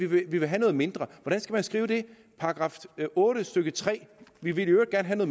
vil have noget mindre skal man skrive § otte stykke 3 vi vil i øvrigt gerne